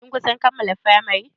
Kin kusan kammala firamari?